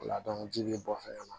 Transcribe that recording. O la ji be bɔ fɛnɛ na